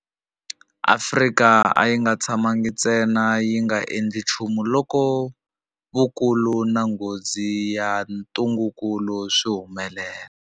Afrika a yi nga tshamangi ntsena yi nga endli nchumu loko vukulu na nghozi ya ntungukulu swi humelela.